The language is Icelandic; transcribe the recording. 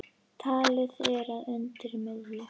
Talið er að undir miðju